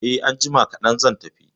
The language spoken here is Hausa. Eh, anjima kadan zan tafi